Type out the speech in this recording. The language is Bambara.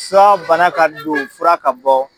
Fura bana ka don fura ka bɔ